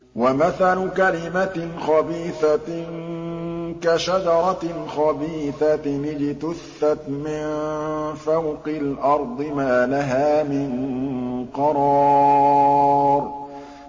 وَمَثَلُ كَلِمَةٍ خَبِيثَةٍ كَشَجَرَةٍ خَبِيثَةٍ اجْتُثَّتْ مِن فَوْقِ الْأَرْضِ مَا لَهَا مِن قَرَارٍ